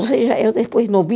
Ou seja, eu depois não vi.